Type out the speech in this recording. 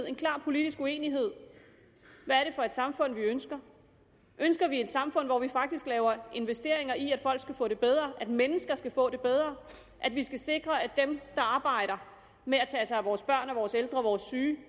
en klar politisk uenighed hvad det for et samfund vi ønsker ønsker vi et samfund hvor vi faktisk laver investeringer i at folk skal få det bedre at mennesker skal få det bedre at vi skal sikre at dem der arbejder med at tage sig af vores børn og vores ældre og vores syge